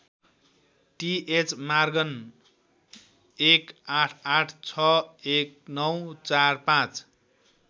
TH Morgan १८८६१९४५